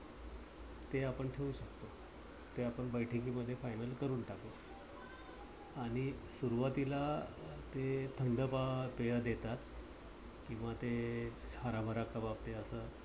ते आपण ठेवू शकतो. ते आपण बैठकी मध्ये final करून टाकू. आणि सुरुवातीला ते थंड पेय देतात किंवा ते हराभरा कबाब ते अस